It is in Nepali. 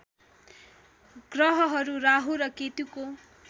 ग्रहहरू राहु र केतुको